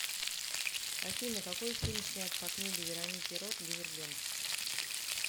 афина какои фильм снят по книге вероники рот дивергент